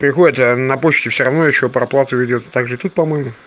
приходят а на почте всё равно ещё проплату ведёт также и тут по моему